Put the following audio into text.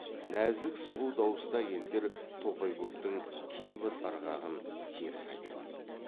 нәзік сұлу дауысты әйелдер топайкөктің кейбір ырғағын теріс айтады